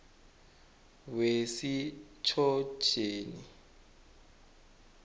wesichotjeni